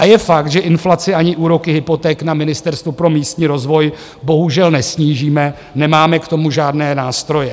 A je fakt, že inflaci ani úroky hypoték na Ministerstvu pro místní rozvoj bohužel nesnížíme, nemáme k tomu žádné nástroje.